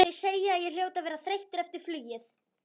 Þau segja að ég hljóti að vera þreyttur eftir flugið.